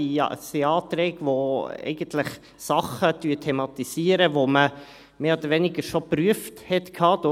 Es sind Anträge, die eigentlich Dinge thematisieren, die man mehr oder weniger schon geprüft hatte;